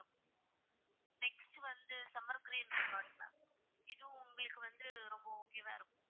Next வந்து summer resort இதுவும் உங்களுக்கு வந்து ரொம்ப okay வா இருக்கும்.